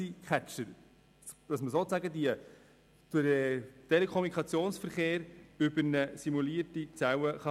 So kann man sozusagen den Telekommunikationsverkehr über eine simulierte Zelle lenken.